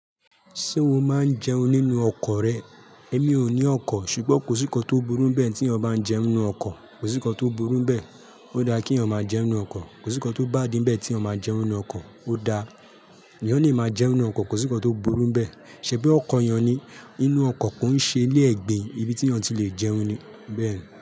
Ṣé o máa ń jẹun nínú ọkọ̀ rẹ? Èmi ò ní ọkọ̀, ṣùgbọ́n kò sí nǹkan tó burú bẹ́ẹ̀ tí ọ bá ń jẹun nínú ọkọ̀, kò sí nǹkan tó burú bẹ́ẹ̀. Ó dára kí èèyàn máa jẹun nínú ọkọ̀, kò sí nǹkan tó bá dín bẹ́ẹ̀ tí èèyàn bá jẹun nínú ọkọ̀, ó dáa. Èèyàn lè máa ń jẹun nínú ọkọ̀, kò sí nǹkan tó burú bẹ́ẹ̀. Ṣẹ̀bí ọkọ̀ èèyàn ni, inú ọkọ̀ kò ń ṣe ilé ẹ̀gbin, ibi tí ǹ ti lè jẹun ni bẹ́ẹ̀ ni.